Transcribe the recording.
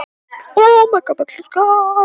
Minning ykkar lifir.